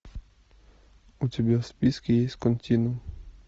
у тебя в списке есть континуум